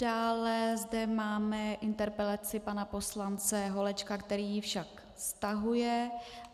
Dále zde máme interpelaci pana poslance Holečka, který ji však stahuje.